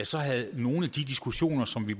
så havde nogle af de diskussioner som vi